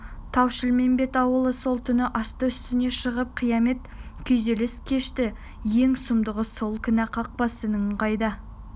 тау-шілмембет ауылы сол түні асты-үстіне шығып қиямет күйзеліс кешті ең сұмдығы сол кәне қақбас інің қайда